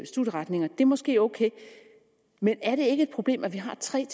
studieretninger er måske ok men er det ikke et problem at vi har tre